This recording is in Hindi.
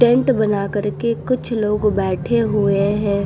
पेंट बना करके कुछ लोग बैठे हुए हैं।